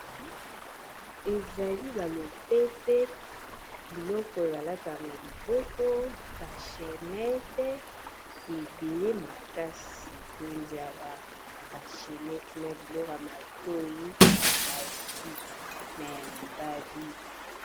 Ezali ba lopete biloko balata na liboko ba chainnete ebele makasi tondi awa ba chainnete na biloka matoyi ya basi na ya mibali.